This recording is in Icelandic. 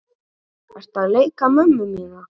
Ertu að leika mömmu mína?